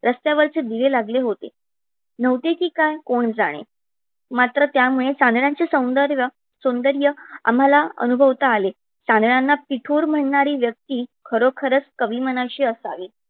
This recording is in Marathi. रस्त्यावरचे दिवे लागले होतें नव्हते कि काय कोण जाने मात्र त्या मुळे चांदण्याचे सौंदर्य आम्हाला अनुभवता आले. चांदण्याना पिठोर म्हणणारी व्यक्ती खरोखरच कवी मनाची असावी.